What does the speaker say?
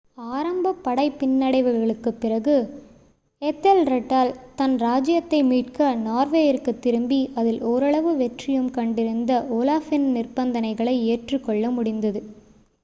ஆரம்ப படைப் பின்னடைவுகளுக்குப் பிறகு ஏதெல்ரெட்டால் தன் ராஜ்ஜியத்தை மீட்க நார்வேயிற்குத் திரும்பி அதில் ஓரளவு வெற்றியும் கண்டிருந்த ஓலாஃப்பின் நிபந்தனைகளை ஏற்றுக்கொள்ள முடிந்தது